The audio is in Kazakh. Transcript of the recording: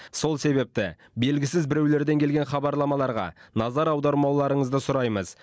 сол себепті белгісіз біреулерден келген хабарламаларға назар аудармауларыңызды сұраймыз